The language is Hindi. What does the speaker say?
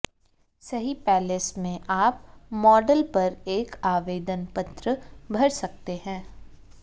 सही पैलेस में आप मॉडल पर एक आवेदन पत्र भर सकते हैं